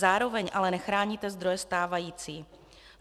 Zároveň ale nechráníte zdroje stávající.